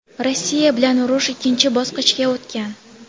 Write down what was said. Rossiya bilan urush ikkinchi bosqichga o‘tgan.